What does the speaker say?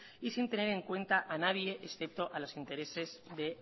y sin tener en cuenta a nadie excepto a los intereses de